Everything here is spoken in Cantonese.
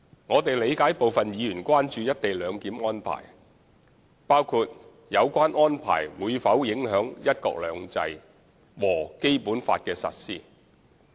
我們理解部分議員關注"一地兩檢"安排，包括有關安排會否影響"一國兩制"和《基本法》的實施。